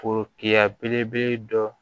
Forokiya belebele dɔ